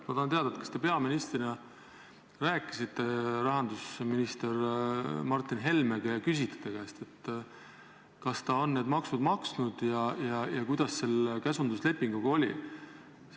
Ma tahan teada, kas te peaministrina rääkisite rahandusminister Martin Helmega ja küsisite ta käest, kas ta on need maksud maksnud ja kuidas selle käsunduslepinguga oli.